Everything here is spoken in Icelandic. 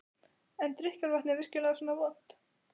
En er drykkjarvatnið virkilega svona vont?